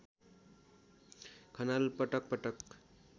खनाल पटक पटक